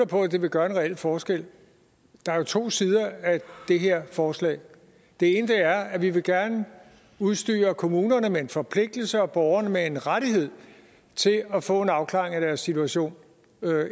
på det vil gøre en reel forskel der er jo to sider af det her forslag det ene er at vi gerne vil udstyre kommunerne med en forpligtelse og borgerne med en rettighed til at få en afklaring af deres situation